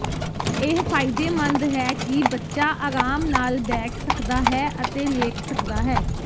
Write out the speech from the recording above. ਇਹ ਫਾਇਦੇਮੰਦ ਹੈ ਕਿ ਬੱਚਾ ਅਰਾਮ ਨਾਲ ਬੈਠ ਸਕਦਾ ਹੈ ਅਤੇ ਲੇਟ ਸਕਦਾ ਹੈ